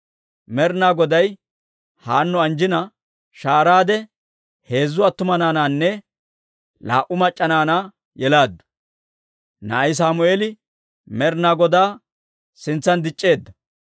Med'inaa Goday Haanno anjjina, shahaaraade heezzu attuma naanaanne laa"u mac'c'a naanaa yelaaddu. Na'ay Sammeeli Med'inaa Godaa sintsan dic'c'eedda.